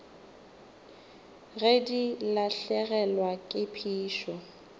ge di lahlegelwa ke phišo